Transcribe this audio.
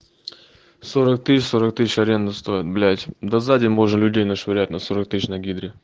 сорок тысяч сорок тысяч аренда стоит блять да за день можно людей нашвырять на сорок тысяч на гидре